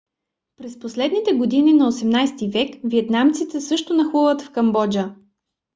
през последните години на 18 - ти век виетнамците също нахлуват в камбоджа